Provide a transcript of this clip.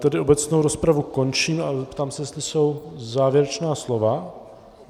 Tedy obecnou rozpravu končím a zeptám se, jestli jsou závěrečná slova.